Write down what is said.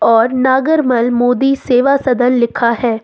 और नागरमल मोदी सेवा सदन लिखा है।